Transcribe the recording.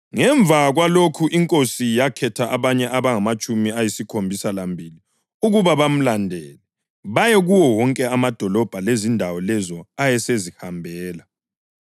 Ngemva kwalokhu iNkosi yakhetha abanye abangamatshumi ayisikhombisa lambili ukuba bamandulele baye kuwo wonke amadolobho lezindawo lezo ayesezazihambela.